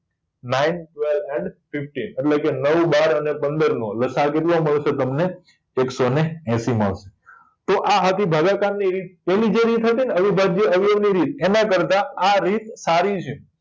nine twelve and fifteen એટલે કે નવ બાર અને પંદર નો લસા અ કેટલો મળશે તમને એકશો ને એંશી મળશે તો આ હતી ભાગાકાર ની રીત પેલી જે રીત હતી ને અવિભાજ્ય અવયવ ની રીત એના કરતા આ રીત સારી છે